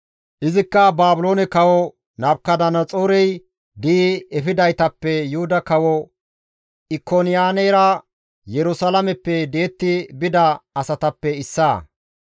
Izikka Baabiloone kawo Nabukadanaxoorey di7i efidaytappe Yuhuda kawo Ikoniyaanera Yerusalaameppe di7etti bida asatappe issaa.